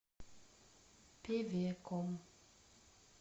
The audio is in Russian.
певеком